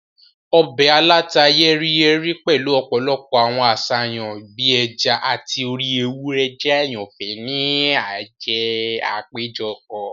Ọbẹ̀ aláta-yẹ́ríyẹ́rí pẹ̀lu ọ̀pọ̀lọpọ̀ àwọn àṣàyàn bii ẹja ati orí ewúrẹ́ jẹ àyànfẹ́ ni àwọn àpéjọpọ̀.